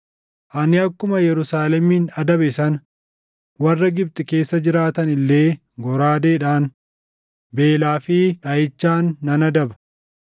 Ani akkuma Yerusaalemin adabe sana warra Gibxi keessa jiraatan illee goraadeedhaan, beelaa fi dhaʼichaan nan adaba.